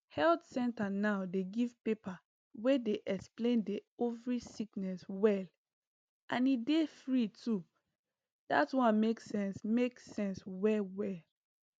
health center now dey give paper wey explain di ovary sickness well and e dey free too dat one make sense make sense well well